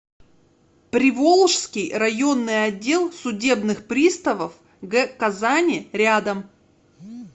приволжский районный отдел судебных приставов г казани рядом